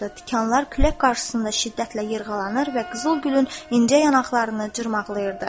Tikanlar külək qarşısında şiddətlə yırğalanır və qızıl gülün incə yanaqlarını cırmaqlayırdı.